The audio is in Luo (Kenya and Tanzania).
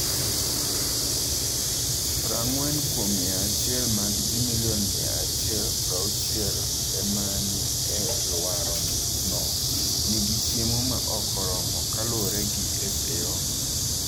prang'wen kuom mia achiel mag ji milion mia achiel prauchielma ni e alworano nigi chiemo ma ok oromo, kaluwore gi FAO.